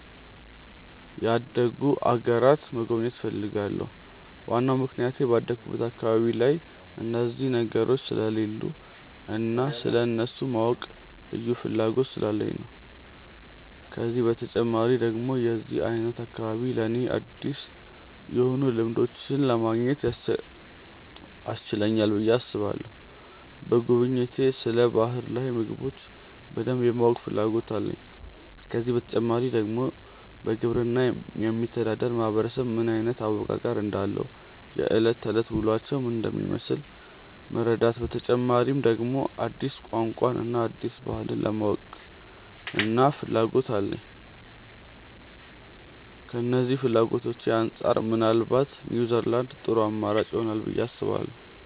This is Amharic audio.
ያደጉ አገራትን መጎብኘት እፈልጋለሁ። ዋናው ምክንያቴ ባደኩበት አካባቢ ላይ እነዚህ ነገሮች ስለሌሉ እና ስለእነሱ የማወቅ ልዩ ፍላጎት ስላለኝ ነው። ከዚህ በተጨማሪ ደግሞ የዚህ አይነት አካባቢ ለኔ አዲስ የሆኑ ልምዶችን ለማግኘት ያስችለናል ብዬ አስባለሁ። በጉብኝቴ ስለ ባህር ላይ ምግቦች በደንብ የማወቅ ፍላጎት አለኝ። ከዚህ በተጨማሪ ደግሞ በግብርና የሚተዳደር ማህበረሰብ ምን አይነት አወቃቀር እንዳለው፣ የእለት ከእለት ውሎአቸው ምን እንደሚመስል መረዳት፤ በተጨማሪ ደግሞ አዲስ ቋንቋን እና አዲስ ባህልን የማወቅና ፍላጎት አለኝ። ከነዚህ ፍላጎቶቼ አንጻር ምናልባት ኒውዝላንድ ጥሩ አማራጭ ይሆናል ብዬ አስባለሁ።